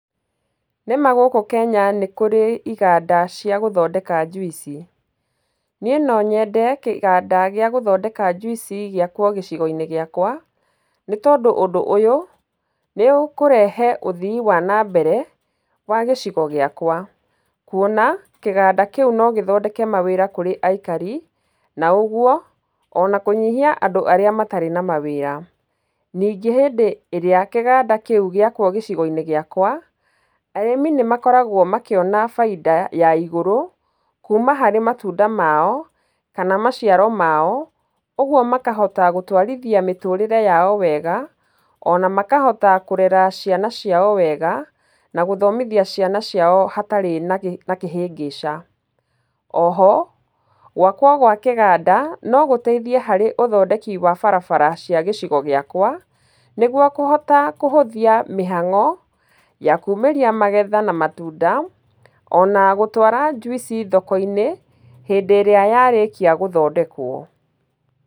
Nĩ ma gũkũ Kenya nĩ kũrĩ iganda cia gũthondeka njuici. Niĩ no nyende kĩganda gĩa gũthondeka njuici gĩakwao gĩcigo-inĩ gĩakwa, nĩ tondũ ũndũ ũyũ nĩ ũkũrehe ũthii wa nambere wa gĩcigo gĩakwa. Kuona kĩganda kĩu no gĩthondeke mawĩra kũrĩ aikari na ũguo ona kũnyihia andũ arĩa matarĩ na mawĩra. Ningĩ hĩndĩ ĩrĩa kĩganda kĩu gĩakwo gĩcigo-inĩ gĩakwa, arĩmi nĩ makoragwo makĩona baita ya igũrũ kuuma harĩ matunda mao kana maciaro mao. Ũguo makahota gũtwarithia mĩtũũrĩre yao wega ona makahota kũrera ciana ciao wega, na gũthomithia ciana ciao hatarĩ na kĩhĩngĩca. O ho, gwakwo gwa kĩganda no gũteithia harĩ ũthondeki wa barabara cia gĩcigo gĩakwa, nĩguo kũhota kũhũthia mĩhango ya kuumĩrĩa magetha na matunda ona gũtwara njuici thoko-inĩ hĩndĩ ĩrĩa yarĩkia gũthondekwo.